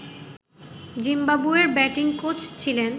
জিম্বাবুয়ের batting coach ছিলেন